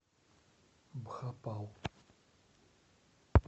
бхопал